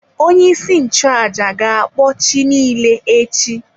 Onye-isi-nchu-àjà gakpọ chi nile echi.